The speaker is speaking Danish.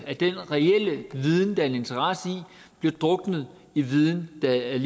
at den reelle viden der er en interesse i bliver druknet i viden der er